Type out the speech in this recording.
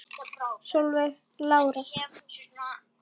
Solveig Lára.